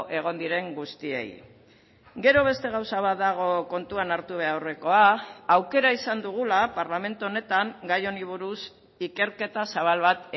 egon diren guztiei gero beste gauza bat dago kontuan hartu beharrekoa aukera izan dugula parlamentu honetan gai honi buruz ikerketa zabal bat